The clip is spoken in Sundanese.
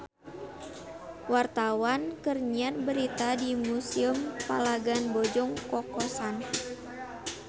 Wartawan keur nyiar berita di Museum Palagan Bojong Kokosan